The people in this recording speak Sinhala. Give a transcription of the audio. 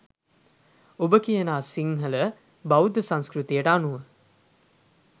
ඔබ කියනා සිංහල බෞද්ධ සංස්කෘතියට අනුව